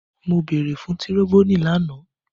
Mo beere fun tiroboni lana!